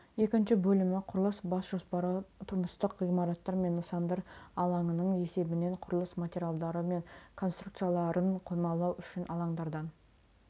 екінші бөлімі құрылыс бас жоспары тұрмыстық ғимараттар мен нысандар алаңының есебінен құрылыс материалдары мен конструкцияларын қоймалау үшін алаңдардан